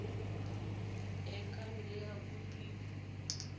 e ka nne ya kopiwa